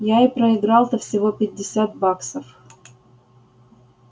я и проиграл-то всего пятьдесят баксов